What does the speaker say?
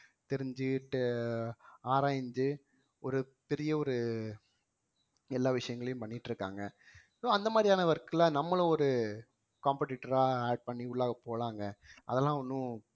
தெரிஞ்சுக்கிட்டு ஆராய்ந்து ஒரு பெரிய ஒரு எல்லா விஷயங்களையும் பண்ணிட்டு இருக்காங்க so அந்த மாதிரியான work ல நம்மளும் ஒரு competitor ஆ add பண்ணி உள்ள போலாங்க அதெல்லாம் ஒண்ணும்